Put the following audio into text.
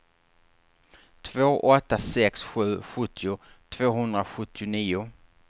två åtta sex sju sjuttio tvåhundrasjuttionio